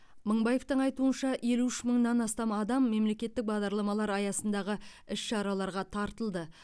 мыңбаевтың айтуынша елу үш мыңнан астам адам мемлекеттік бағдарламалар аясындағы іс шараларға тартылды